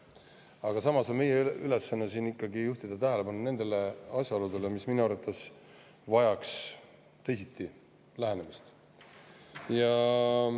Aga samas on meie ülesanne siin ikkagi juhtida tähelepanu nendele asjaoludele, mis minu arvates vajaksid teisiti lähenemist.